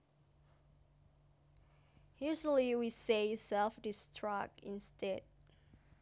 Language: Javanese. Usually we say self destruct instead